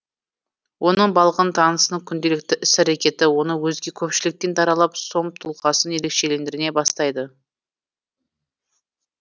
оның балғын танысының күнделікті іс әрекеті оны өзге көпшіліктен даралап сом тұлғасын ерекшелендіре бастайды